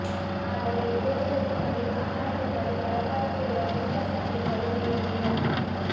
ಆದರೆ ಇದೇ ಜಗತ್ತಿನಲ್ಲಿ ಆಹಾರವಿಲ್ಲದೆ ಪರದಾಡುತ್ತಿರುವ ಜನರ ಸಂಖ್ಯೆ ಕಡಿಮೆ ಏನಿಲ್ಲ